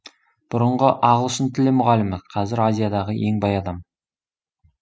бұрынғы ағылшын тілі мұғалімі қазір азиядағы ең бай адам